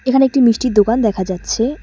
এখানে একটি মিষ্টির দোকান দেখা যাচ্ছে।